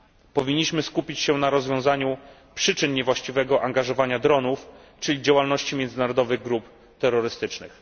Powinniśmy skupić się na rozwiązaniu przyczyn niewłaściwego wykorzystywania dronów, czyli działalności międzynarodowych grup terrorystycznych.